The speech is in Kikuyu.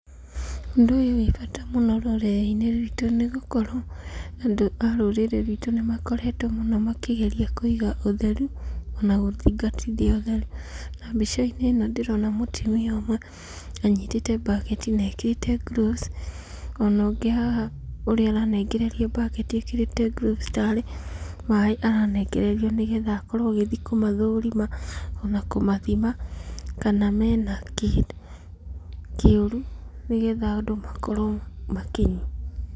Ũndũ ũyũ wĩbata rũrĩrĩ-inĩ ruitũ nĩ gũkorwo andũ a rũrĩrĩ ruitũ nĩ makoretwo mũno makĩgeria kũiga ũtheru, ona gũthingatithia ũtheru. Na mbica-inĩ ĩno ndĩrona mũtumia ũmwe anyitĩte mbaketi na ekĩrĩte grũvus, ona ũnĩ haha ũrĩa ũranengererio mbaketi ekĩrĩte grũvus tarĩ maĩ aranengererio nĩ getha akorwo agĩthi kũmathũrima ona kũmathima kana mena kĩndũ kĩũru nĩgetha andũ makorwo makĩnyua.